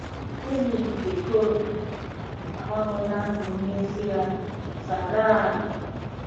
Enyi nke Cori agbanweela ndụ m n'ezie! "- Tara.